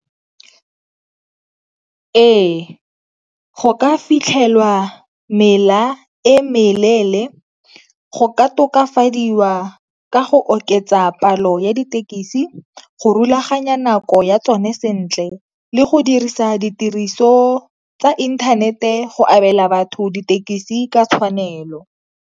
Ee, go ka fitlhelwa mela e meleele, go ka tokafadiwa ka go oketsa palo ya dithekisi, go rulaganya nako ya tsone sentle le go dirisa ditiriso tsa inthanete go abela batho dithekisi ka tshwanelo.